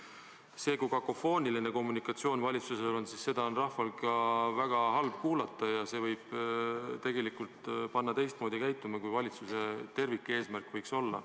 Kui valitsusel on kakofooniline kommunikatsioon, siis seda on rahval väga halb kuulata ja see võib tegelikult panna teistmoodi käituma, kui valitsuse tervikeesmärk võiks olla.